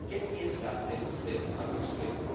¿Qué piensa hacer usted al respecto?